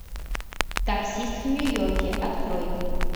таксист в нью йорке открой